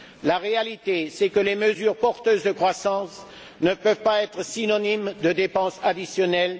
La réalité, c'est que les mesures porteuses de croissance ne peuvent pas être synonymes de dépenses additionnelles.